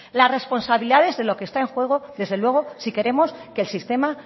las responsabilidades de lo que está en juego desde luego si queremos que el sistema